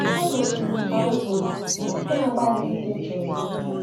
“Ekwesịrị m,” ka m kwuru, na-agbalị ịdị jụụ.